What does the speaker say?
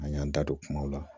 An y'an da don kumaw la